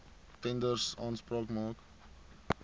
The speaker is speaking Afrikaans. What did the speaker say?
tenders aanspraak maak